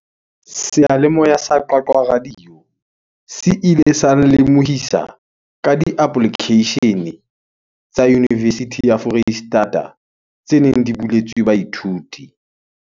Seyalemoya sa Qwaqwa radio se ile sa nlemohisa ka di-application-e tsa university ya Foreisetata tse neng di buletswe baithuti.